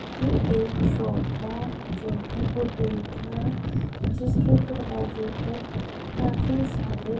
ये एक शॉप है जो कि वो दिख रा जिसके दरवाजे पर काफी सारे--